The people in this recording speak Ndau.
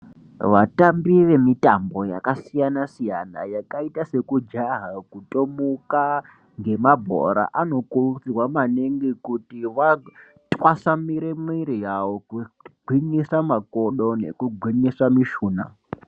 Vatambi vemitambo yakasiyana siyana yakaita sekujaha kutomuka ngemabhora anokurudzirwa maningi kuti atwasanure mwiri yawo kugwinyisa makodo nekugwinyisa mishuna.